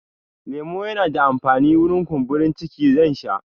Lemo yana da amfani wurin kumburin ciki, zan sha